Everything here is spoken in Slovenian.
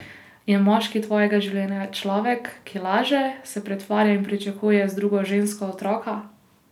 Je moški tvojega življenja človek, ki laže, se pretvarja in pričakuje z drugo žensko otroka?